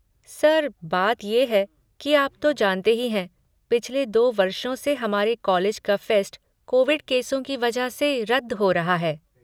Sir, बात ये है कि आप तो जानते ही हैं, पिछले दो वर्षों से हमारे कॉलेज का फ़ेस्ट कोविड केसों की वजह से रद्द हो रहा है।